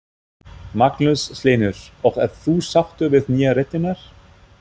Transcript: Magnús Hlynur: Og ert þú sáttur við nýju réttirnar?